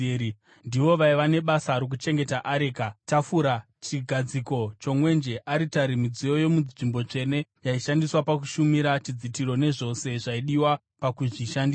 Ndivo vaiva nebasa rokuchengeta areka, tafura, chigadziko chomwenje, aritari, midziyo yomunzvimbo tsvene yaishandiswa pakushumira, chidzitiro, nezvose zvaidiwa pakuzvishandisa.